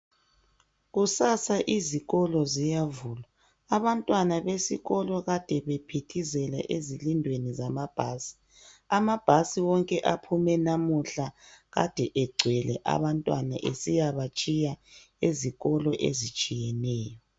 Kusasa izikolo ziyavulwa. Abantwana besikolo kade bephithizela ezilundweni zamabhasi. Amabhasi wonke aphume lamuhla kade egcwele abantwana esiyabatshiya ezikolweni ezitshiyeneyo.